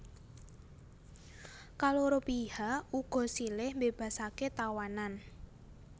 Kaloro pihak uga silih mbébasaké tawanan